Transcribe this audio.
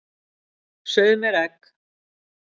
Sauð mér egg.